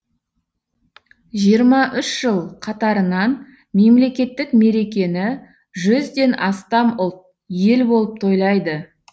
жиырма үш жыл қатарынан мемлекеттік мерекені жүзден астам ұлт ел болып тойлайды